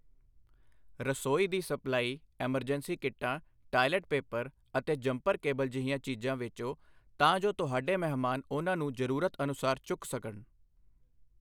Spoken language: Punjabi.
ਰਸੋਈ ਦੀ ਸਪਲਾਈ, ਐਮਰਜੈਂਸੀ ਕਿੱਟਾਂ, ਟਾਇਲਟ ਪੇਪਰ ਅਤੇ ਜੰਪਰ ਕੇਬਲ ਜਿਹੀਆਂ ਚੀਜ਼ਾਂ ਵੇਚੋ ਤਾਂ ਜੋ ਤੁਹਾਡੇ ਮਹਿਮਾਨ ਉਨ੍ਹਾਂ ਨੂੰ ਜ਼ਰੂਰਤ ਅਨੁਸਾਰ ਚੁੱਕ ਸਕਣ।